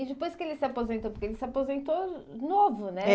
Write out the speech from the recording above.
E depois que ele se aposentou, porque ele se aposentou novo, né? É